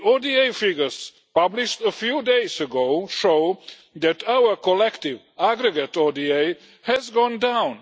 The ODA figures published a few days ago show that our collective, aggregate ODA has gone down.